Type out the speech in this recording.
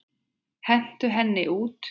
Hentu henni út!